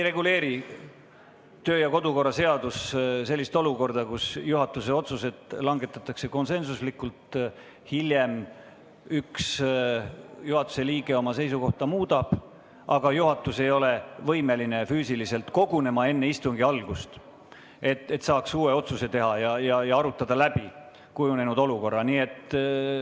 Kodu- ja töökorra seadus ei reguleeri sellist olukorda, kus juhatuse otsused langetatakse konsensuslikult, aga hiljem otsustab üks juhatuse liige oma seisukohta muuta, kuid juhatus ei ole võimeline enne istungi algust füüsiliselt kogunema, et saaks uue otsuse teha ja kujunenud olukorra läbi arutada.